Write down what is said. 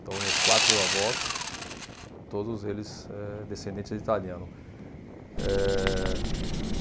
Então, meus quatro avós, todos eles eh, descendentes de italiano. Eh